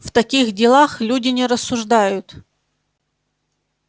в таких делах люди не рассуждают